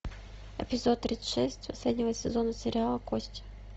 эпизод тридцать шесть последнего сезона сериала кости